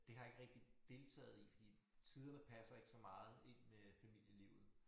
Det har jeg ikke rigtig deltaget i fordi tiderne passer ikke så meget ind med familielivet